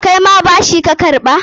Kaima bashi ka karɓa?